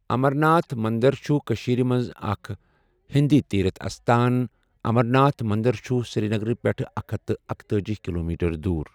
امَر ناتھ منٛدَر چھُ کٔشیٖرَس مَنٛز اَکھ ہؠنٛدی تیٖرٕتھ استان امَر ناتھ منٛدَر چھُ سِریٖنَگَر پؠٹھ اکھ ہتھَ تہٕ اکتأجی کِلومیٖٹر دوٗر۔